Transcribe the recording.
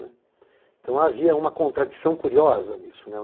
né. Então havia uma contradição curiosa nisso, né.